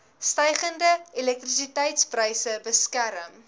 stygende elektrisiteitspryse beskerm